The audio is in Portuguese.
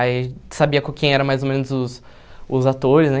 Aí, sabia com quem eram mais ou menos os os atores, né?